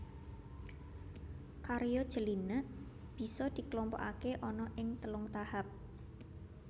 Karya Jelinek bisa dikelompokake ana ing telung tahap